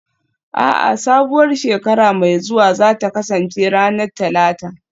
A'a, sabuwar shekara mai zuwa za ta kasance ranar Talata